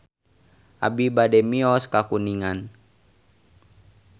Abi bade mios ka Kuningan